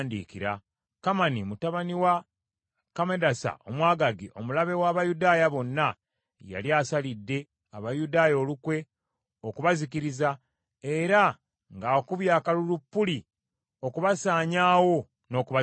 Kamani mutabani wa Kammedasa Omwagaagi omulabe w’Abayudaaya bonna, yali asalidde Abayudaaya olukwe okubazikiriza, era ng’akubye akalulu Puli, okubasaanyaawo n’okubazikiriza.